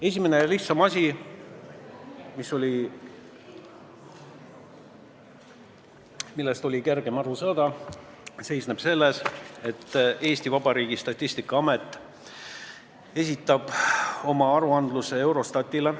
Esimene ja lihtsam asi, millest oli kergem aru saada, on see, et Eesti Vabariigi Statistikaamet esitab oma aruande Eurostatile.